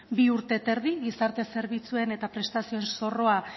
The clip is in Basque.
bi urte eta erdi gizarte zerbitzuen eta prestazioen